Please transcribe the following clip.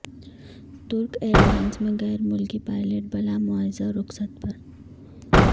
ترک ایئرلائنز میں غیر ملکی پائلٹ بلا معاوضہ رخصت پر